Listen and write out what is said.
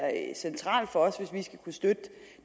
centralt for os hvis vi skal kunne støtte